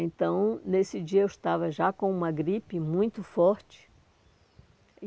Então, nesse dia eu estava já com uma gripe muito forte.